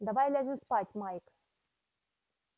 давай ляжем спать майк